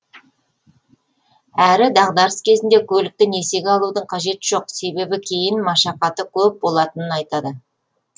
әрі дағдарыс кезінде көлікті несиеге алудың қажеті жоқ себебі кейін машақаты көп болатынын айтады